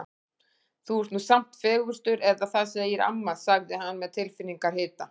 Þú ert nú samt fegurstur eða það segir amma sagði hann svo með tilfinningahita.